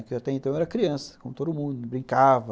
Porque até então eu era criança, como todo mundo, brincava.